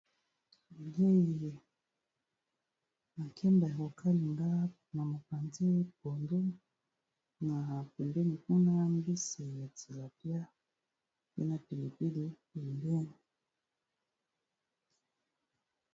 Jaie makemba ya kokalinga na mopanzi kuna podu na pembeni kuna mbisi ya tilapia pe na pilipili pembeni